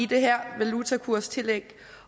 det her valutakurstillæg